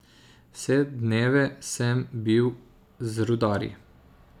Vse dneve sem bil z rudarji.